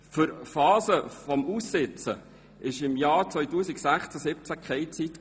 Für Phasen des Aussitzens war im Jahr 2016 keine Zeit.